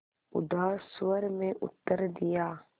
उदास स्वर में उत्तर दिया